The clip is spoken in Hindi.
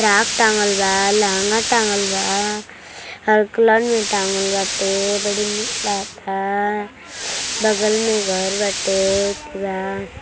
फ्रॉक टांगल बा लहंगा टांगल बा हर कलर में टांगल बाटे बड़ी निक लागता बगल में घर बाटे ठीक बा।